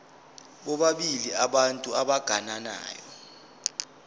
bobabili abantu abagananayo